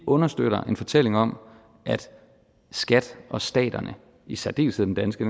understøtte en fortælling om at skat og staterne i særdeleshed den danske